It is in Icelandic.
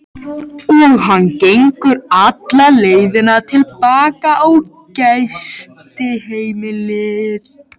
Og hann gengur alla leiðina til baka á gistiheimilið.